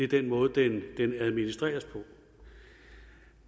den måde den administreres på